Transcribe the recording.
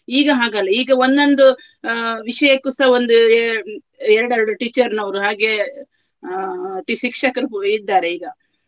ಈಗ ಹಾಗಲ್ಲ ಈಗ ಒಂದೊಂದು ಆ ವಿಷಯಕ್ಕುಸ ಒಂದು ಎ~ ಎರಡು ಎರಡು teacher ನವರು ಹಾಗೆ ಅಹ್ tea~ ಶಿಕ್ಷಕರು ಕೂ~ ಇದ್ದಾರೆ ಈಗ.